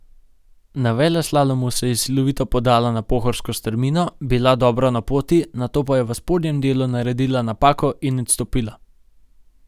Na veleslalomu se je silovito podala na pohorsko strmino, bila dobro na poti, nato pa je v spodnjem delu naredila napako in odstopila.